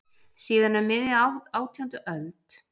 Síðan um miðja átjándu öld hefur sama ættin búið í Skáleyjum.